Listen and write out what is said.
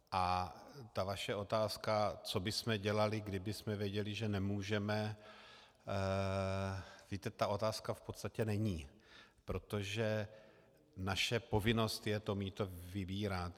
A ta vaše otázka, co bychom dělali, kdybychom věděli, že nemůžeme, víte, ta otázka v podstatě není, protože naše povinnost je to mýto vybírat.